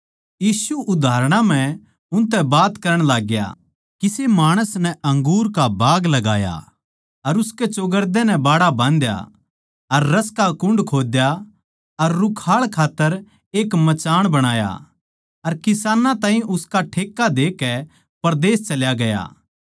यीशु उदाहरणां म्ह उनतै बात करण लाग्या किसे माणस नै अंगूर का बाग लगाया अर उसकै चौगरदे नै बाड़ा बाँधया अर रस का कुण्ड खोद्या अर रुखाळ खात्तर एक मचान बणाया अर किसानां ताहीं उसका ठेक्का देकै परदेस चल्या गया